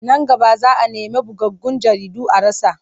Nan gaba za a nemi bugaggun jaridu a rasa.